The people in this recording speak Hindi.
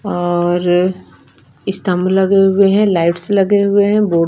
और स्तम्ब लगे हुए है लाइट्स लगे हुए है।